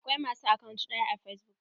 Akwai ma su akant ɗaya a fesbuk.